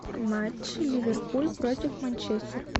матч ливерпуль против манчестер